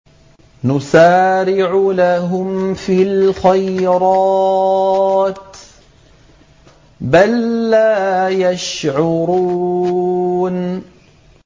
نُسَارِعُ لَهُمْ فِي الْخَيْرَاتِ ۚ بَل لَّا يَشْعُرُونَ